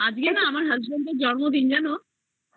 আজকে না আমার husband এর জন্মদিন জানো